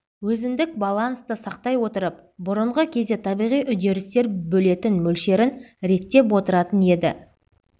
өзіндік балансты сақтай отырып бұрынғы кезде табиғи үдерістер бөлетін мөлшерін реттеп отыратын еді